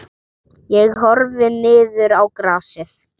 Ég horfði niður í grasið.